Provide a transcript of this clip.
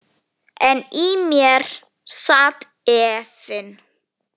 En í mér sat efinn.